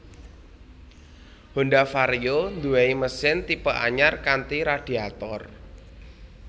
Honda Vario nduweni mesin tipe anyar kanthi radiator